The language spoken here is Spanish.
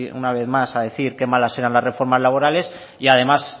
una vez más a decir qué malas serán las reformas laborales y además